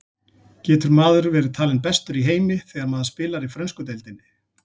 Getur maður verið talinn bestur í heimi þegar maður spilar í frönsku deildinni?